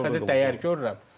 Mən ilk dəfə dəyər görürəm.